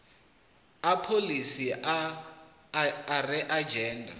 a pholisi a a angaredza